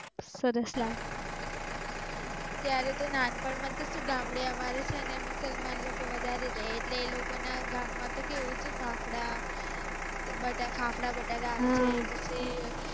ત્યારે તો નાનપણ તો શું અમારે ગામડે છે ને મુસલમાન લોકો વધારે રહે ઍટલે એ લોકો ના ગામ માં તો કેવું ફાફડા બટ્ટર ફાફડા બટાકા સેવ